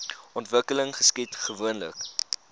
ontwikkeling geskied gewoonlik